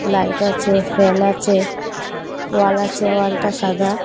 Light আচে fan আচে wall আচে ওয়ালটা সাদা।